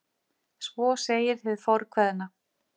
Svo segir hið fornkveðna.